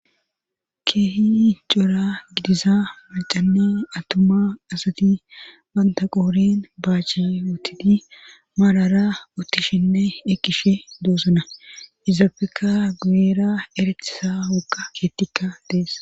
keehi cora gidiza macanne atuma asati bantaqoorin baache utidi maarara uttishinne ekishe doosona izaabeka guyera eretisa wuga keettikka dees